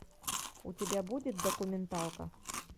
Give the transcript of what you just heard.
у тебя будет документалка